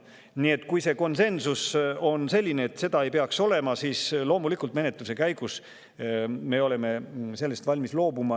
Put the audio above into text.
Nii et kui konsensus on selline, et seda ei peaks olema, siis loomulikult me oleme valmis menetluse käigus sellest loobuma.